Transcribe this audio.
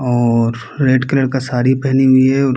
और red colour की साड़ी पहनी हुई है और